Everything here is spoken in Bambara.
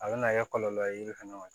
A bɛna kɛ kɔlɔlɔ ye yiri fana ma